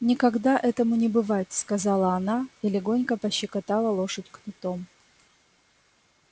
никогда этому не бывать сказала она и легонько пощекотала лошадь кнутом